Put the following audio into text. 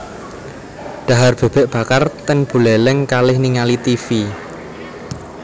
Dhahar bebek bakar ten Buleleng kalih ningali tivi